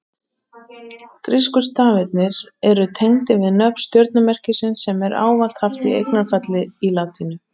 Grísku stafirnir eru tengdir við nöfn stjörnumerkisins sem er ávallt haft í eignarfalli í latínunni.